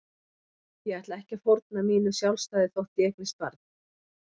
Ég ætla ekki að fórna mínu sjálfstæði þótt ég eignist barn.